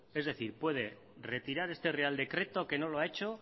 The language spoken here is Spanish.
es decir puede retirar este real decreto que no lo ha hecho